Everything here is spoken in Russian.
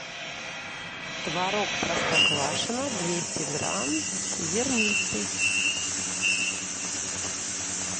творог простоквашино двести грамм зернистый